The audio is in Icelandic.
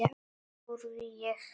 spurði ég hana.